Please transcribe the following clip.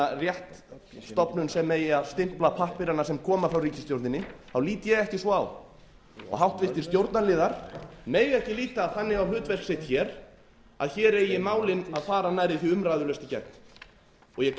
svona rétt stofnun sem eigi að stimpla pappírana sem koma frá ríkisstjórninni þá lít ég ekki svo á háttvirtu stjórnarliðar mega ekki líta þannig á hlutverk sitt hér að hér eigi málin að fara nærri því umræðulaust í gegn ég